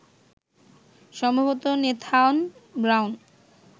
সম্ভবত Nathan brown